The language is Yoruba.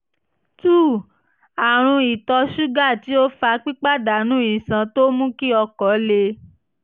àrùn ìtọ̀ ṣúgà tí ó fa pípàdánù iṣan tó ń mú kí okó le